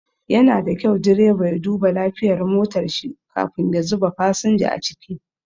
Yana da kyau direba ya duba lafiyar motar shi kafin ya zuba fasinja a ciki.